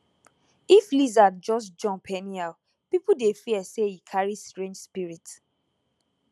if lizard just jump anyhow people dey fear say e carry strange spirit